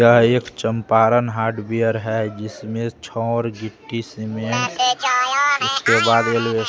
यह एक चंपारण हार्डवेयर है जिसमें छौर गिट्टी सीमेंट उसके बाद ये --